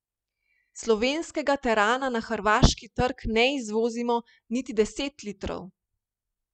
Slovenskega terana na hrvaški trg ne izvozimo niti deset litrov.